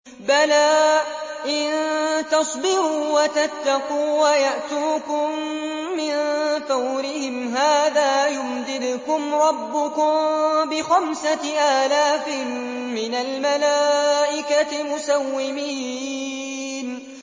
بَلَىٰ ۚ إِن تَصْبِرُوا وَتَتَّقُوا وَيَأْتُوكُم مِّن فَوْرِهِمْ هَٰذَا يُمْدِدْكُمْ رَبُّكُم بِخَمْسَةِ آلَافٍ مِّنَ الْمَلَائِكَةِ مُسَوِّمِينَ